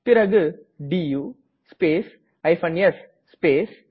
பிறகு two space s space